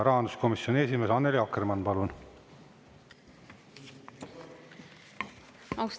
Rahanduskomisjoni esimees Annely Akkermann, palun!